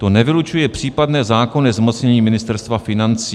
To nevylučuje případné zákonné zmocnění Ministerstva financí."